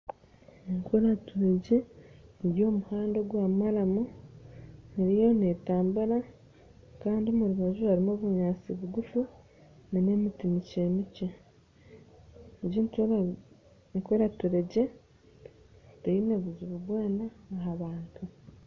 Enturegye eri omu muhanda ogwa maramu eriyo netambura kandi omurubaju harimu obunyatsi bugufu n'emiti mikye, enturegye egi teine buzibu bwona ahabantu.